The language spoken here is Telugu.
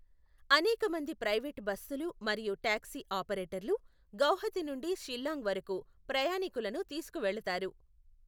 అనేక మంది ప్రైవేట్ బస్సులు మరియు టాక్సీ ఆపరేటర్లు గౌహతి నుండి షిల్లాంగ్ వరకు ప్రయాణీకులను తీసుకువెళతారు.